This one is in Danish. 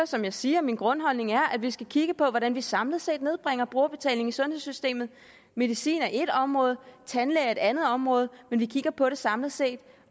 som jeg siger er min grundholdning at vi skal kigge på hvordan vi samlet set nedbringer brugerbetalingen i sundhedssystemet medicin er ét område tandlæge er et andet område men vi kigger på det samlet set